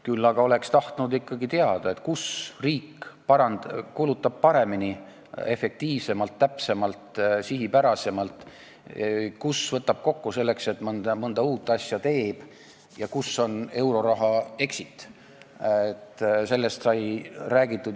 Küll aga oleks tahtnud ikkagi teada, kus riik kulutab paremini, efektiivsemalt, täpsemalt ja sihipärasemalt, kus võtab kokku, selleks et mõnda uut asja teha, ja kus on euroraha exit.